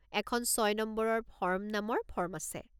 এখন ছয় নম্বৰৰ ফৰ্ম নামৰ ফৰ্ম আছে।